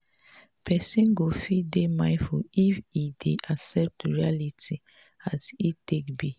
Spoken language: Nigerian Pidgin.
person go fit dey mindful if im dey accept reality as e take be